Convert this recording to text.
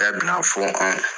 Bɛɛ b'inafɔ anw